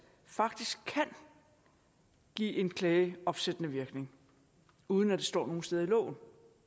faktisk kan give en klage opsættende virkning uden at det står nogen steder i loven